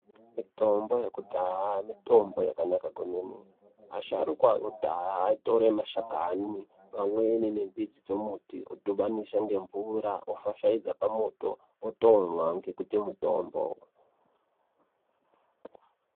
Mitombo yekudhaya mitombo yakanaka kwemene. Asharukwa akudhaya aitore mashakani, pamweni nemidzi dzemuti odhibanisa ngemvura, ofashaidza pamoto, otomwa ngekuti mutombo.